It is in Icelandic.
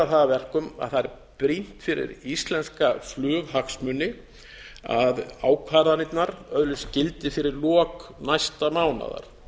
það að verkum að það er brýnt fyrir íslenska flughagsmuni að ákvarðanirnar öðlist gildi fyrir lok næsta mánaðar